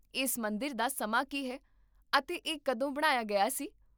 ਇਸ ਮੰਦਰ ਦਾ ਸਮਾਂ ਕੀ ਹੈ, ਅਤੇ ਇਹ ਕਦੋਂ ਬਣਾਇਆ ਗਿਆ ਸੀ?